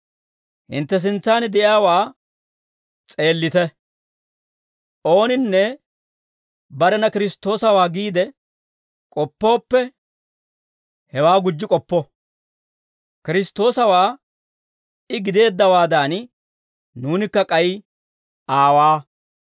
Hintte sintsan de'iyaawaa s'eellite; ooninne barena Kiristtoosawaa giide k'oppooppe, hewaa gujji k'oppo; Kiristtoosawaa I gideeddawaadan, nuunikka k'ay aawaa.